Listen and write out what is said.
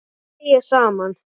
Og hlæja saman.